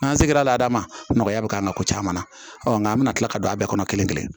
N'an se l'a la dama nɔgɔya bɛ k'an na ko caman na nka an bɛna tila ka don a bɛɛ kɔnɔ kelen kelen